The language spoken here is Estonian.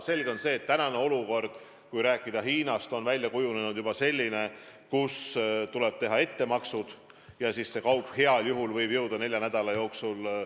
Selge on see, et kui rääkida Hiinast, siis on olukord juba selline, et tuleb teha ettemaksed ja siis see kaup heal juhul võib kohale jõuda nelja nädala jooksul.